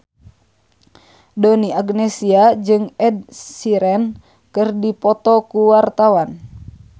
Donna Agnesia jeung Ed Sheeran keur dipoto ku wartawan